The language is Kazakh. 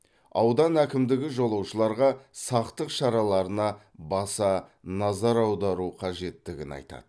аудан әкімдігі жолаушыларға сақтық шараларына баса назар аудару қажеттігін айтады